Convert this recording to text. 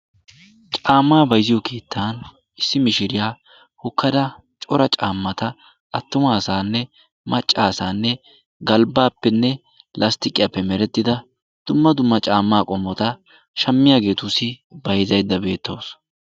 Caammaa bayzziyo keettan issi mishiriya hokkada cora caammata attuma asaanne macca asaanne galbbaappenne lasttiqiyappe merettida dumma dumma caammaa qommota shammiyageetussi bayzzaydda beettawus.